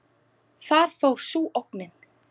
Þar fór sú ógnin.